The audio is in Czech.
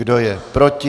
Kdo je proti?